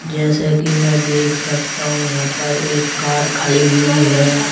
जैसे की मैं देख सकता हूं यहां पर एक कार खड़ी हुई है।